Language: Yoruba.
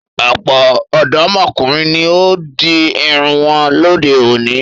Ọ̀pọ̀ ọ̀dọ́mọkùnrin ni ó di irun wọn lóde-òní.